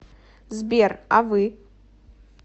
сбер а вы